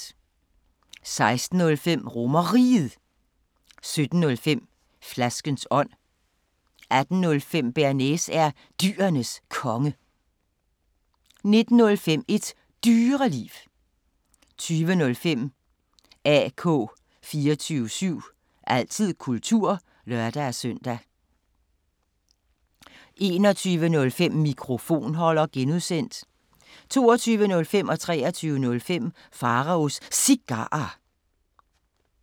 16:05: RomerRiget 17:05: Flaskens ånd 18:05: Bearnaise er Dyrenes Konge 19:05: Et Dyreliv 20:05: AK 24syv – altid kultur (lør-søn) 21:05: Mikrofonholder (G) 22:05: Pharaos Cigarer 23:05: Pharaos Cigarer